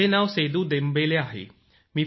माझे नाव Sedu Dembele आहे